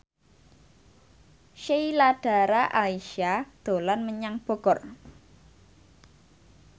Sheila Dara Aisha dolan menyang Bogor